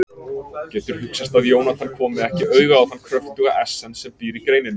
Getur hugsast að Jónatan komi ekki auga á þann kröftuga essens sem býr í greininni?